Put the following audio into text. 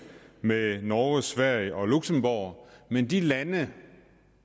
med norge sverige og luxembourg men de lande